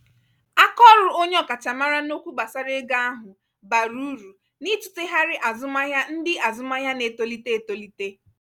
akaọrụ onye ọkachamara n'okwu gbasara ego ahụ bara uru n'itụtegharị azụmahịa ndị azụmahịa na-etolite etolite.